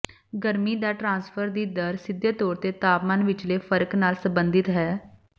ਗਰਮੀ ਦਾ ਟ੍ਰਾਂਸਫਰ ਦੀ ਦਰ ਸਿੱਧੇ ਤੌਰ ਤੇ ਤਾਪਮਾਨ ਵਿਚਲੇ ਫਰਕ ਨਾਲ ਸੰਬੰਧਿਤ ਹੈ